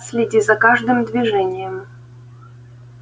следи за каждым движением